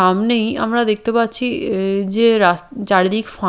আমনেই আমরা দেখতে পাচ্ছি এ যে রাস চারিদিক ফাঁ--